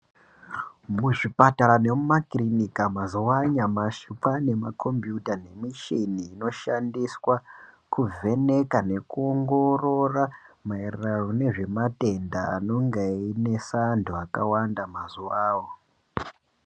Muzvipatara nemumakirinika mazuwa anyamashi kwaane makombiyuta nemishini inoshandiswa kuvheneka nekuongorora maererano nezvematenda anenga einesa mazuwawo.